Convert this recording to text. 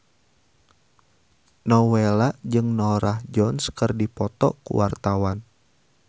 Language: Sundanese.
Nowela jeung Norah Jones keur dipoto ku wartawan